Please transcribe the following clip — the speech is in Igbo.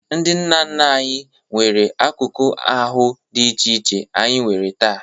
Ndị nna nna anyị nwere akụkụ ahụ dị iche iche anyị nwere taa.